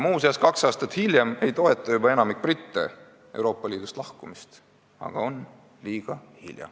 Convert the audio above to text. Muuseas, kaks aastat hiljem ei toeta juba enamik britte Euroopa Liidust lahkumist, aga on liiga hilja.